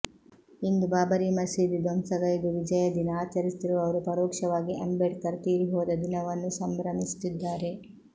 ಇಂದು ಬಾಬರಿ ಮಸೀದಿ ಧ್ವಂಸಗೈದು ವಿಜಯ ದಿನ ಆಚರಿಸುತ್ತಿರುವವರು ಪರೋಕ್ಷವಾಗಿ ಅಂಬೇಡ್ಕರ್ ತೀರಿ ಹೋದ ದಿನವನ್ನು ಸಂಭ್ರಮಿಸುತ್ತಿದ್ದಾರೆ